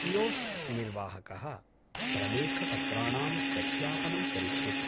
Kiosk निर्वाहकः प्रलेखपत्राणां सत्यापनं करिष्यति।